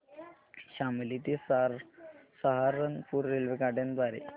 शामली ते सहारनपुर रेल्वेगाड्यां द्वारे